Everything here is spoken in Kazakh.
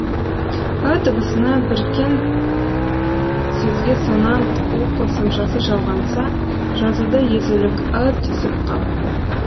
ы дыбысына біркен сөзге сонант у қосымшасы жалғанса жазуда езулік ы түсіп қалады